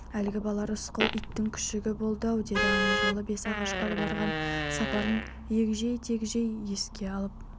әлгі бала рысқұл иттің күшігі болды-ау деді ана жолы бесағашқа барған сапарын егжей-тегжей еске алып